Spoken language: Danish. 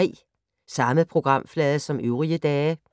Samme programflade som øvrige dage